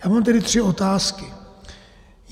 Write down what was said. Já mám tedy tři otázky.